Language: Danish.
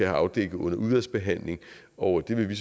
afdækket under udvalgsbehandlingen og det vil vi